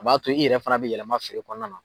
A b'a to i yɛrɛ fana bɛ yɛlɛma feere kɔnɔna na.